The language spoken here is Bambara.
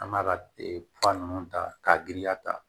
An b'a ka fura nunnu ta k'a giriya ta